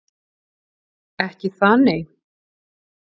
Ekki það, nei?